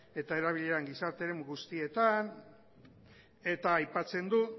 eta erabilera gizarte eremu guztietan eta aipatzen du